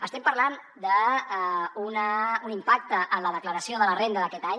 estem parlant d’un impacte en la declaració de la renda d’aquest any